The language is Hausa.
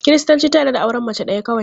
Kiristanci ta yarda da auren mace ɗaya kawai.